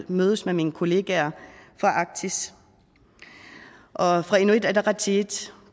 mødes med mine kollegaer fra arktis og fra inuit ataqatigiits